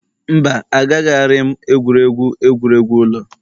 Mba, Agaraghị m egwuregwu egwuregwu ụlọ